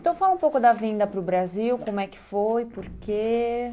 Então, fala um pouco da vinda para o Brasil, como é que foi, por quê?